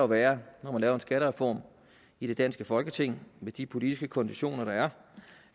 være når man laver en skattereform i det danske folketing med de politiske konditioner der